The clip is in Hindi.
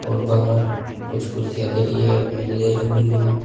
और बाहर कुछ कुर्सियां धरी है मेज धरी हुई है।